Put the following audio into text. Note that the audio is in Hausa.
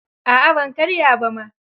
A'a ban karya ba ma.